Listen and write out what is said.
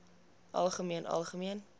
algemeen algemeen